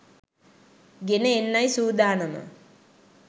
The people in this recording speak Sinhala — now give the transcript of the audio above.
ගෙන එන්නයි සූදානම